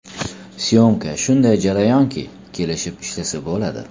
S’yomka shunday jarayonki, kelishib ishlasa bo‘ladi.